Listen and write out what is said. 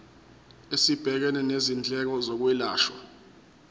esibhekene nezindleko zokwelashwa